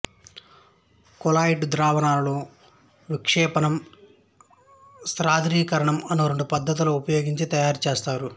colloid ద్రావణాలను విక్షెపణం సాంద్రీకరణం అను రెండు పధతులు ఉపయోగించి తయారుచేస్తారు